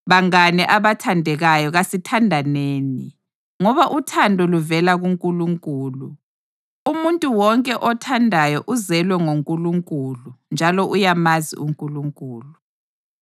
Bangane abathandekayo kasithandaneni, ngoba uthando luvela kuNkulunkulu. Umuntu wonke othandayo uzelwe ngoNkulunkulu njalo uyamazi uNkulunkulu.